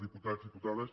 diputats i diputades